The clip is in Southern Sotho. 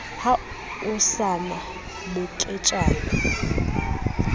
ha ho sa na moketjana